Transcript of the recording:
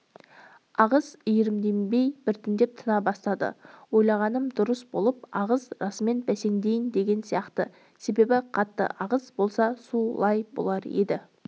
ағыс иірімденбей біртіндеп тына бастады ойлағаным дұрыс болып ағыс расымен бәсеңдейін деген сияқты себебі қатты ағыс болса су лай болар еді